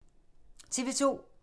TV 2